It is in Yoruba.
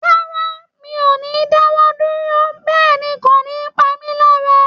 Rárá, mi ò ní dáwọ́ dúró, bẹ́ẹ̀ ni kò ní pa mí lára